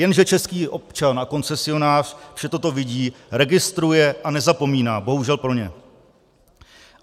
Jenže český občan a koncesionář vše toto vidí, registruje a nezapomíná, bohužel pro ně.